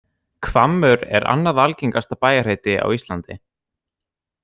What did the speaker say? Hvammur er annað algengasta bæjarheiti á Íslandi.